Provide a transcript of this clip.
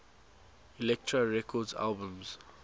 elektra records albums